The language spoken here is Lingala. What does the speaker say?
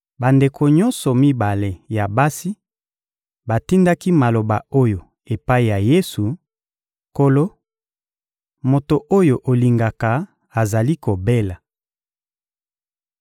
Bandeko nyonso mibale ya basi batindaki maloba oyo epai ya Yesu: — Nkolo, moto oyo olingaka azali kobela.